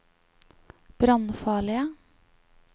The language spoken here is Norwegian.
brannfarlige